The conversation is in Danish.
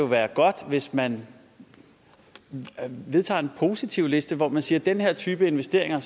være godt hvis man vedtager en positivliste hvor man siger den her type investeringer